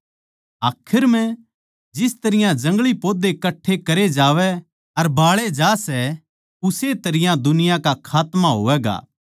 आखर म्ह जिस तरियां जंगली पौधे कट्ठे करे जावै अर बाळे जा सै उस्से तरियां दुनिया का खात्मा होवैगा